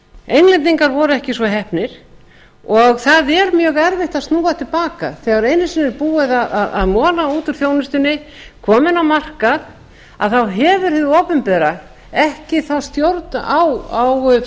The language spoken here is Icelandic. englendingar voru ekki svo heppnir og það er mjög erfitt að snúa til baka þegar einu sinni er búið að mola út úr þjónustunni koma henni á markað að þá hefur hið opinbera ekki þá stjórn á